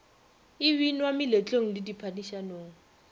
e binwa meletlong le diphadišanong